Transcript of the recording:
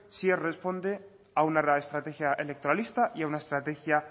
si él responde a una real estrategia electoralista y a una estrategia